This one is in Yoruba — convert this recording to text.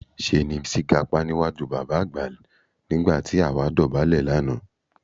Ṣé ni Bísí gapá níwájú bàbá àgbà nígbà tó àwa dọ̀bálẹ̀ lánàá